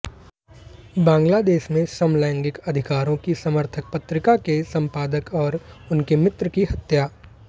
बांग्लादेश में समलैंगिक अधिकारों की समर्थक पत्रिका के संपादक और उनके मित्र की हत्या